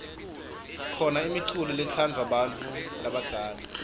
khona imiculo letsadvwa bantfu labadzala